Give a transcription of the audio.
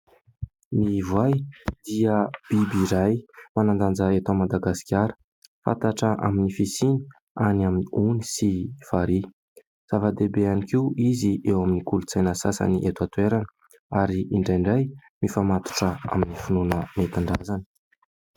Ny voay dia biby iray manan-danja eto Madagasikara, fantatra amin'ny fisiany any amin'ny ony sy farihy. Zava-dehibe ihany koa izy eo amin'ny kolontsaina sasany eto an-toerana ary indraindray mifamatotra amin'ny finoana nentin-drazana.